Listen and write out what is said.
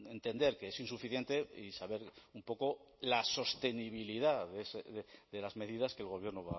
entender que es insuficiente y saber un poco la sostenibilidad de las medidas que el gobierno